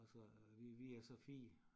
Og så vi vi er så 4